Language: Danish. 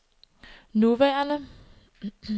nuværende